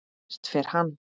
Hvert fer hann?